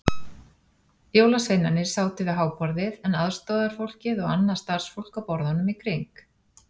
Jólasveinarnir sátu við háborðið en aðstorðafólkið og annað starfsfólk á borðunum í kring.